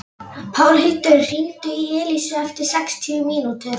Pálhildur, hringdu í Elísu eftir sextíu mínútur.